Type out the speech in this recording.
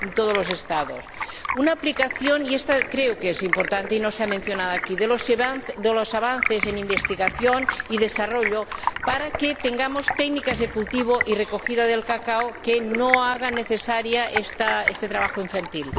El segundo consistiría en la aplicación —y esto creo que es importante y no se ha mencionado aquí— de los avances en investigación y desarrollo para que tengamos técnicas de cultivo y recogida del cacao que no hagan necesario este trabajo infantil.